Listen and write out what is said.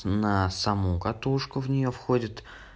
на саму катушку в неё входит